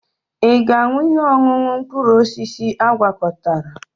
Ị ga-aṅụ ihe ọṅụṅụ mkpụrụ osisi agwakọtara?